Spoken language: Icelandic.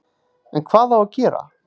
En hvað á að gera